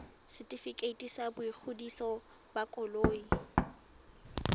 setefikeiti sa boingodiso ba koloi